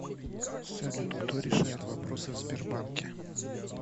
салют кто решает вопросы в сбербанке